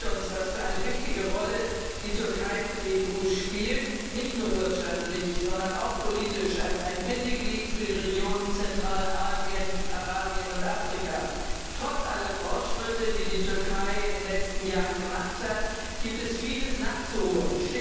Er zeigt uns, was für eine wichtige Rolle die Türkei für die EU nicht nur wirtschaftlich, sondern auch politisch als ein Bindeglied für die Regionen Zentralasien, Arabien und Afrika spielt. Trotz aller Fortschritte, die die Türkei in den letzten Jahren gemacht hat, gibt es Vieles nachzuholen.